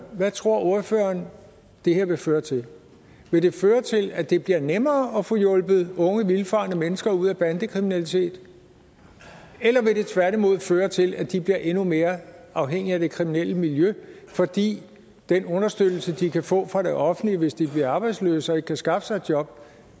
hvad tror ordføreren det her vil føre til vil det føre til at det bliver nemmere at få hjulpet unge vildfarne mennesker ud af bandekriminalitet eller vil det tværtimod føre til at de bliver endnu mere afhængige af det kriminelle miljø fordi den understøttelse de kan få fra det offentlige hvis de bliver arbejdsløse og ikke kan skaffe sig et job